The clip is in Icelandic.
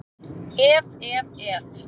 Ef, ef, ef!